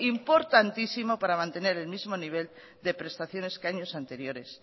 importantísimo para mantener el mismo nivel de prestaciones que años anteriores